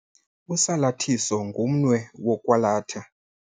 Usalathiso ngumnwe wokwalatha.